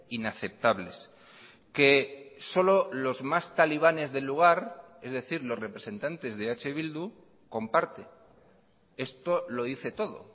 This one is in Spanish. inaceptables que solo los más talibanes del lugar es decir los representantes de eh bildu comparte esto lo dice todo